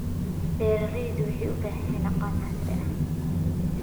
Beeraleydu waxay u baahan yihiin aqoon casri ah.